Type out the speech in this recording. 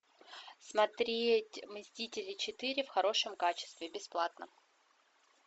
смотреть мстители четыре в хорошем качестве бесплатно